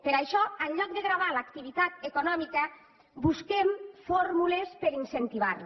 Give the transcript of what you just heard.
per això en lloc de gravar l’activitat econòmica busquem fórmules per a incentivar la